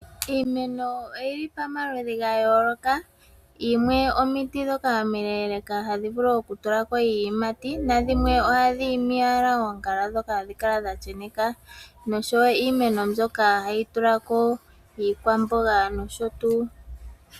Iimeno oyili pa maludhi ga yooloka. Yimwe omuti ndhoka omi leeleka hadhi vulu oku tulako iiyimati, na dhimwe ohadhi imi owala oongala dhoka hadhi hadhi kala dha sheneka. Noshowo iimeno mbyoka hayi tulako iikwamboga nosho tuu.